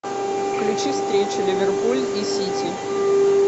включи встречу ливерпуль и сити